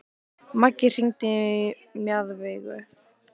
Maggi, hringdu í Mjaðveigu.